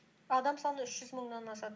адам саны үш жүз мыңнан асады